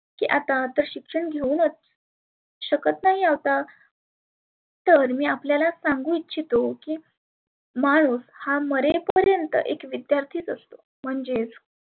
आता शिक्षण घेऊनच शकत नाही आता तर मी आपल्याला सांगु इच्छीतो की माणुस हा मरे पर्यंत विद्यार्थीच असतो. म्हणजेच